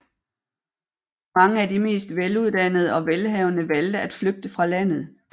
Mange af de mest veluddannede og velhavende valgte at flygte fra landet